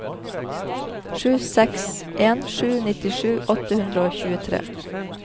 sju seks en sju nittisju åtte hundre og tjuetre